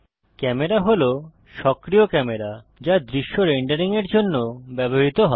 camera হল সক্রিয় camera যা দৃশ্য রেন্ডারিং এর জন্য ব্যবহৃত হয়